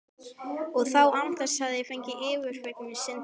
Og það án þess ég fengi fyrirgefningu synda minna.